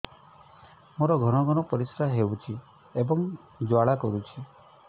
ମୋର ଘନ ଘନ ପରିଶ୍ରା ହେଉଛି ଏବଂ ଜ୍ୱାଳା କରୁଛି